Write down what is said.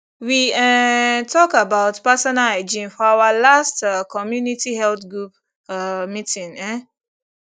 we ehhnntalk about personal hygiene for our last um community health group um meeting um